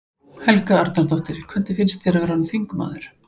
Helga Arnardóttir: Hvernig finnst þér að vera orðinn þingmaður?